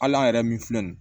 Hali an yɛrɛ min filɛ nin